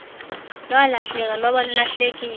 lwalahleka lwaba lulahlekile